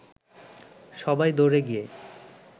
সবাই দৌড়ে গিয়ে